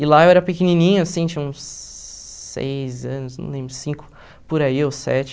E lá eu era pequenininho, assim, tinha uns seis anos, não lembro, cinco por aí, ou sete.